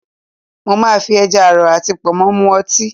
Mo máa fi ẹja àrọ̀ àti Pọ̀nmọ́ mu ọtí